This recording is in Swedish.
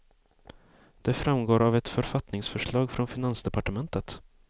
Det framgår av ett författningsförslag från finansdepartementet.